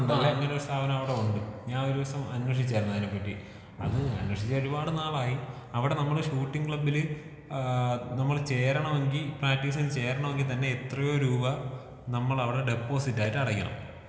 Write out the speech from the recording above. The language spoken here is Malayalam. ആഹ് ഇങ്ങനെ ഒരു സ്ഥാപനം അവിടെ ഉണ്ട്. ഞാൻ ഒരു ദിവസം അന്വേഷിച്ചായിരുന്നു അതിനെ പറ്റി. അത് അന്വേഷിച്ചിട്ട് ഒരുപാട് നാളായി. അവിടെ നമ്മളെ ഷൂട്ടിംഗ് ക്ലബ്ബില് ഏഹ് നമ്മള് ചേരണമെങ്കി പ്രാക്ടീസിന് ചേരണമെങ്കി തന്നേ എത്രയോ രൂപ നമ്മളവടെ ഡെപ്പോസിറ്റ് ആയിട്ട് അടക്കണം.